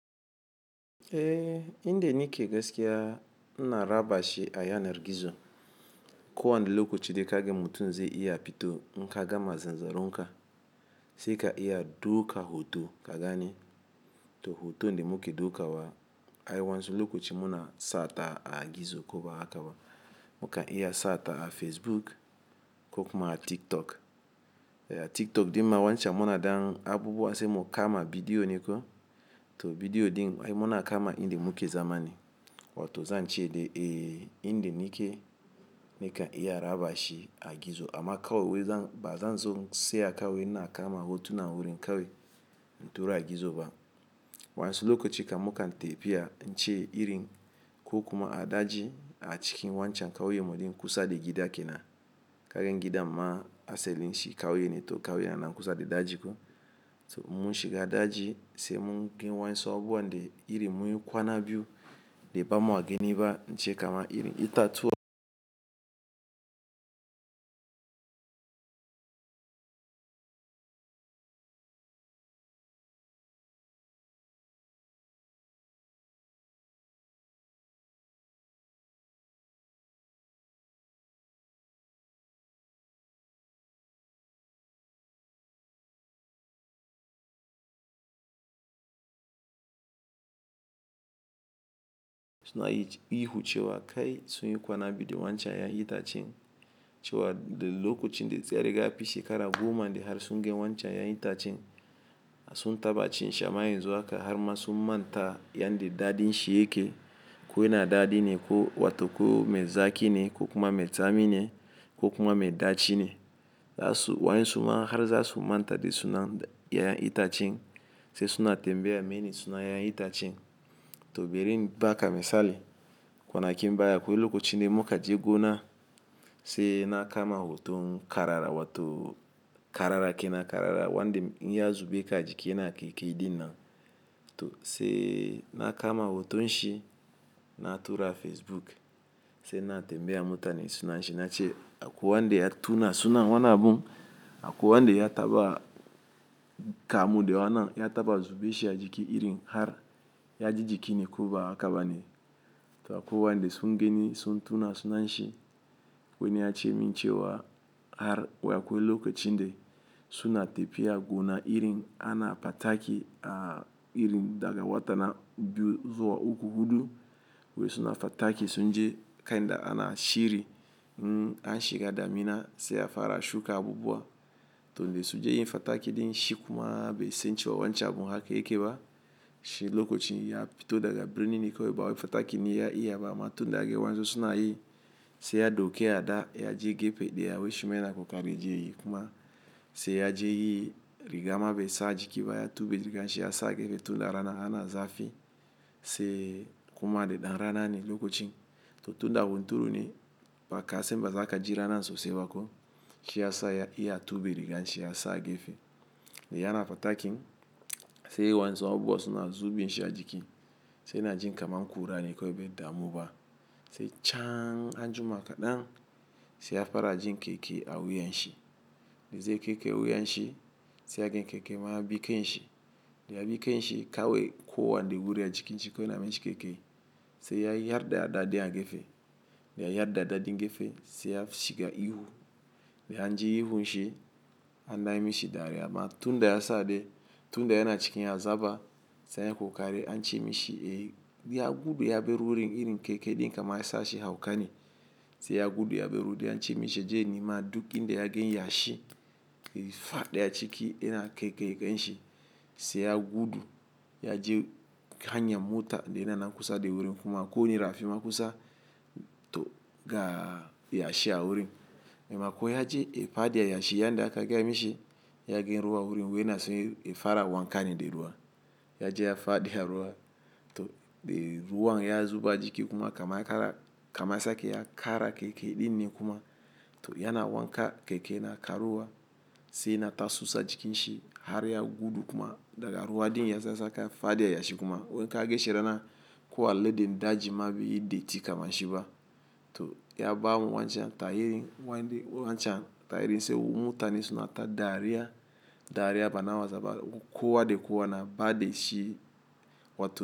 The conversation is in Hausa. Eh, in da nike gaskiya ina rabashi a yanar gizo. Kowan da lokaci dai kaga mutum zai iya fito in ka gama zanzaronka, sai ka iya dauka hoto ka gani, to hoto ne muke dukawa. Ai wansu lokaci muna sata a gizo ko ba haka ba. Muka iya sata a Facebook ko kuma a TikTok. Eh, TikTok din ma wancan muna ɗan abubuwa sai mu kama bidiyo ne ko to bidiyo din ai muna kama in da muke zama ni. Wato zan ce dai, eh, inda nike ni ka iya rabashi a gizo amma ka wai ba zan so sai a kan wai ina kama hotuna wurin ka wai in tura a gizo ba. Wansu lokaci kam muka tafiya zance irin ko kuma a daji a cikin wancan kauyen mu din kusa da gida kenan. Ka ga gidan ma asalin shi kauye ne, to kauye yana nan kusa da daji ko. To mun shiga daji sai mun gan wayansu abubuwa da irin mun kwana biyu da ba mu gani ba in ce kama irin itatuwa suna yi ihu cewa kai, sun yi kwana biyu da wancan yaya itacen cewa da lokacin da zai riga fi shekara goma de har sun gan wancan yayi itacen. Sun taba cin shi amma yanzu haka har ma sun manta yanda dadin shi yake. Ko yana dadi ne, ko wato ko mai zaki ne, ko kuma mai tsami ne, ko kuma mai daci ne. Za su Wayansu ma har za su manta de suna yaya itacen sai suna tambaya mene suna yaya itacen. To barin baka misali, kwanakin baya akwai lokacin da muka je gona sai na kama hoton karara wato karara kenan karara wan da in ya zube ka ajiki yana kaikayi ɗin nan. To sai na kama hotonshi na tura Facebook, sai na tambaya mutani sunan shi nace akwai wanda ya tuna suna wannan abu, akwai wanda ya taba kamu da wana ya taba zubashi a jiki irin har ya ji jiki ne ko ba haka ba ne. To akwai wayanda sun gani sun tuna sunan shi, wani ya ce min cewa har wai akwai lokacin da suna tafiya gona irin ana fataki a irin daga wata na biyu zuwa uku, hudu. Wai suna fataki sun je kai da ana shiri, an shiga damina sai ya fara shuka abubuwa. To da sun je yin fataki din shi kuma bai san cewa wancan abun haka yake ba. Shi lokacin ya fito daga birni ne kawai ba wai fatakin ne ya iya ba amma tunda ya ga wayansu suna yi sai ya ɗauke ada ya je gefe daya wai shi ma yana kokari je yi kuma, sai ya je yi rigama bai sa jiki ba ya tube riganshi ya sa gefe tun da rana yana zafi sai kuma da ɗan rana ne lokacin. To tunda hunturu ne, baka san ba za ka ji rana sosai ba ko. Shi ya sa ya iya ya tube riganshi ya sa gefe. Da yana fatakin sai wayansu abuwa suna zubin shi a jiki sai yana jin kamar kura ne kawai bai damu ba sai can anjima kaɗan sai ya fara jin kaikayi a wuyan shi. Da zai kaikaye wuyan shi sai ya gan kaikayi ma ya bi kanshi. Da ya bi kanshi kawai kowanda wuri a jikin shi kowai yana mishi kaikayi sai ya yar da ada ɗin a gefe. Da ya yar da ada ɗin gefe sai ya shiga ihu. Da an ji ihun shi an dan yi mishi dariya amma tun da ya sa dai, tun da yana cikin azaba sai yayi ƙoƙari an ce mishi, eh, ya gudu ya bar wurin irin kaikayi ɗin kamar ya sa shi hauka ne. Sai ya gudu ya bar wuri an ce mishi ya je ya nima duk inda ya gan yashi ya, fadi a ciki yana kaikaye kanshi sai ya gudu ya je hanya mota da yana nan kusa da wurin kuma ko da rafi ma kusa to ga yashi a wurin. Da ma ko ya je, ya fadi a yashi yanda aka gaya mishi ya gan ruwa a wurin wai yana so ya fara wanka ne da ruwa. Ya je ya faɗi a ruwa, to da ruwan ya zuba jiki kuma kamar ya kara kama, ya sake ya kara kaikayi ɗin ne kuma to yana wanka kaikayi na karuwa sai yana ta susa jikin shi har ya gudu kuma daga ruwa ɗin ya sa saka fadi a yashi kuma, wai in ka ga shi rana ko alede daji ma be yi datti kamar shi ba. To ya ba mu wancan tahirin wande wancan tahirin sai mutane suna ta dariya, dariya bana wasa ba kowa da kowa na ba da shi wato.